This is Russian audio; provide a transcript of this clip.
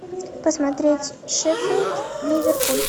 посмотреть шеффилд ливерпуль